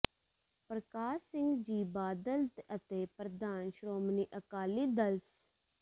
ਪਰਕਾਸ਼ ਸਿੰਘ ਜੀ ਬਾਦਲ ਅਤੇ ਪ੍ਰਧਾਨ ਸ਼੍ਰੋਮਣੀ ਅਕਾਲੀ ਦਲ ਸ